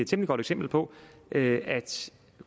temmelig godt eksempel på at